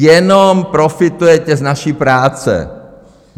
Jenom profitujete z naší práce.